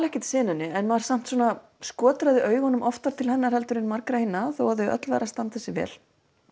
ekkert senunni en maður svona augunum oftar til hennar en margra hinna þó þau öll væru að standa sig vel